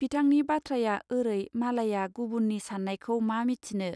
बिथांनि बाथ्राया ओरै मालाइया गुबुननि सानायखौ मा मिथिनो.